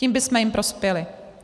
Tím bychom jim prospěli.